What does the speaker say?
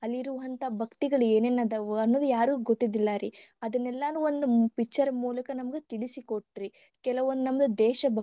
ಮಾಡ್ತಿವಿ ಅಲ್ಲಿರುವಂತಹ ಭಕ್ತಿಗಳು ಏನೇನ ಅದಾವು ಅನ್ನದ ಯಾರಿಗೂ ಗೊತ್ತಿರ್ಲಿಲ್ಲಾ ರೀ ಅದನ್ನೆಲ್ಲಾನು ಒಂದ picture ಮೂಲಕ ನಮಗ ತಿಳಿಸಿ ಕೊಟ್ರಿ ಕೆಲವೊಂದ ನಮ್ಮದ ದೇಶ.